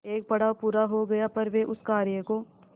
एक पड़ाव पूरा हो गया पर वे उस कार्य को